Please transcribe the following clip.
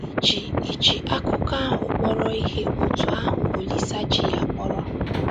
Ì ji Ì ji akụkọ ahụ kpọrọ ihe otú ahụ Olise ji ya kpọrọ?